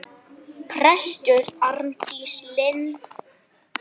Prestur Arndís Linn.